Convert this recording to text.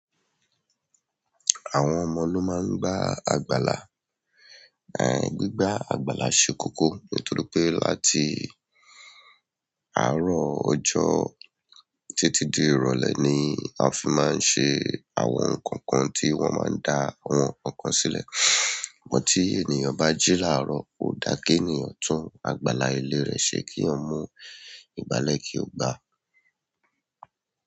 Àwọn ọmọ ló máa ń gbá àgbàlá. Gbígbá àgbàlá ṣe kókó nítorí pé láti àárọ̀ ọjọ́ títí di ìrọ̀lẹ́ ni a fi máa ń ṣe àwọn nǹkan kan tí wọ́n máa ń dá àwọn nǹkankan sílẹ̀. Ṣùgbọ́n tí ènìyàn bá jí láàárọ̀ ò dáa kí ènìyàn tún àgbàlá ilé rẹ̀ ṣe keeyan mú igbálẹ̀ kí ó gbá.